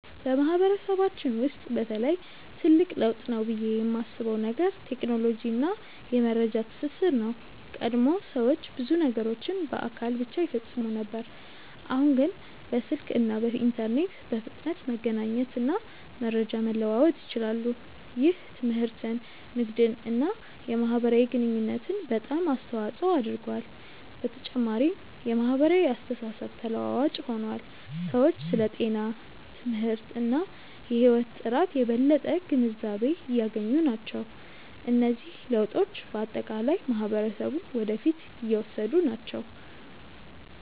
በማህበረሰባችን ውስጥ በተለይ ትልቅ ለውጥ ነው ብዬ የማስበው ነገር ቴክኖሎጂ እና የመረጃ ትስስር ነው። ቀድሞ ሰዎች ብዙ ነገሮችን በአካል ብቻ ይፈጽሙ ነበር፣ አሁን ግን በስልክ እና በኢንተርኔት በፍጥነት መገናኘት እና መረጃ መለዋወጥ ይችላሉ። ይህ ትምህርትን፣ ንግድን እና የማህበራዊ ግንኙነትን በጣም አስተዋፅኦ አድርጓል። በተጨማሪም የማህበራዊ አስተሳሰብ ተለዋዋጭ ሆኗል፤ ሰዎች ስለ ጤና፣ ትምህርት እና የህይወት ጥራት የበለጠ ግንዛቤ እያገኙ ናቸው። እነዚህ ለውጦች በአጠቃላይ ማህበረሰቡን ወደ ፊት እየወሰዱ ናቸው።